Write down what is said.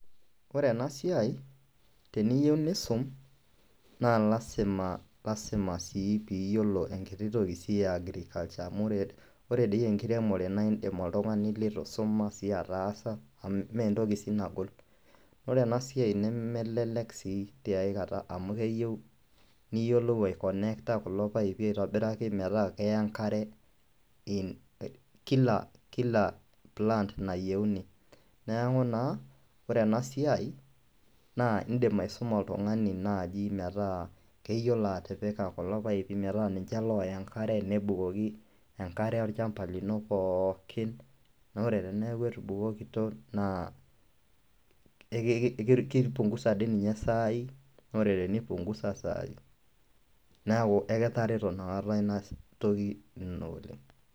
Ore ena siai teniyeu niisum naa lazima lazima sii piiyolo enkiti toki sii e agriculture amu ore ore dii enkiremore naa iindim oltung'ani litu isoma sii ataasa amu mee entoki sii nagol. Ore ena siai nemelelek sii tiai kata amu keyeu niyolou aiconnecta kulo paipi aitobiraki metaa keya enkare in kila kila plant nayeuni. Neeku naa ore ena siai naa iindim aisuma oltung'ani naaji metaa keyiolo atipika kulo paipi metaa ninje looya enkare, nebukoki enkare olchamba lino pookin naa ore teneeku etubukokito naa eki ki kipung'uza ade ninye saai na ore tenipung'uza saai, neeku ekitareto inakata ina toki ino oleng'.